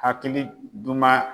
Hakili duman